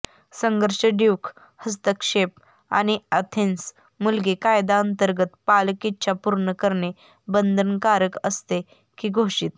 संघर्ष ड्यूक हस्तक्षेप आणि अथेन्स मुलगी कायद्यांतर्गत पालक इच्छा पूर्ण करणे बंधनकारक असते की घोषित